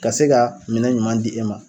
Ka se ka minɛn ɲuman di e ma